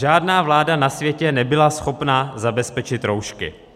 Žádná vláda na světě nebyla schopna zabezpečit roušky.